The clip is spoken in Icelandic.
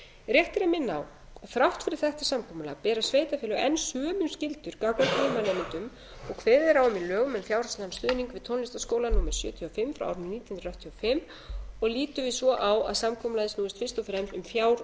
rétt er að minna á að þrátt fyrir þetta samkomulag bera sveitarfélög enn sömu skyldur gagnvart nemendum og kveðið er á um í lögum um fjárhagslegan stuðning við tónlistarskóla númer sjötíu og fimm nítján hundruð áttatíu og fimm og lítum við svo á að samkomulagið snúist fyrst og fremst um